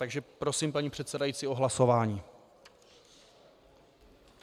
Takže prosím paní předsedající o hlasování.